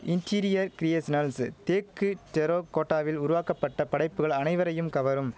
interior creations தேக்கு டெரோ கோட்டாவில் உருவாக்கப்பட்ட படைப்புகள் அனைவரையும் கவரும்